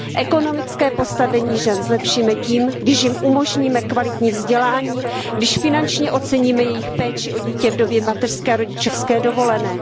Ekonomické postavení žen zlepšíme tím, když jim umožníme kvalitní vzdělání, když finančně oceníme jejich péči o dítě v době mateřské a rodičovské dovolené.